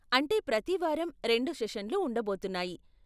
అంటే ప్రతి వారం రెండు సెషన్లు ఉండబోతున్నాయి.